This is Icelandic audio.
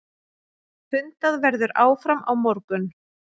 Fundað verður áfram á morgun.